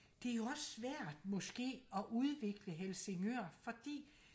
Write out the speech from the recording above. det er jo også svært måske og udvikle Helsingør fordi